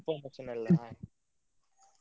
Information ಎಲ್ಲಾ.